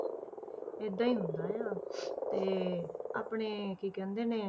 ਏਦਾਂ ਹੀ ਹੁੰਦਾ ਆ ਤੇ ਆਪਣੇ ਕੀ ਕਹਿੰਦੇ ਨੇ,